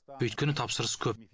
өйткені тапсырыс көп